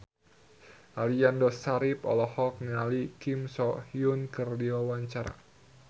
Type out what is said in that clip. Aliando Syarif olohok ningali Kim So Hyun keur diwawancara